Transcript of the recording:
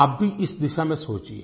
आप भी इस दिशा में सोचिए